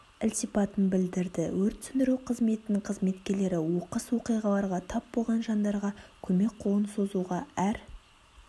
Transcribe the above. ілтипатын білдірді өрт сөндіру қызметінің қызметкерлері оқыс оқиғларға тап болған жандарға көмек қолын созуға әр